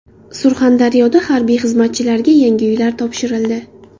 Surxondaryoda harbiy xizmatchilarga yangi uylar topshirildi.